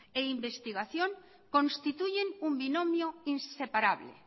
e investigación constituyen un binomio inseparable